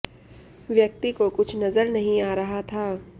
व्यक्ति को कुछ नजर नहीं आ रहा था